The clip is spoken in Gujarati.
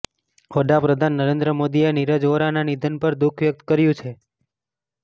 વડાપ્રધાન નરેન્દ્ર મોદીએ નીરજ વોરાના નિધન પર દુખ વ્યકત કર્યું છે